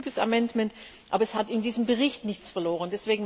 Das ist ein guter Änderungsantrag, aber er hat in diesem Bericht nichts verloren.